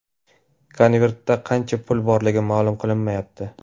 Konvertda qancha pul borligi ma’lum qilinmayapti.